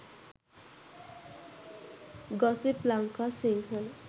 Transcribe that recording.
gossip lanka sinhala